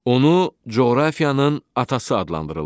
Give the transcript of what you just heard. Onu coğrafiyanın atası adlandırırlar.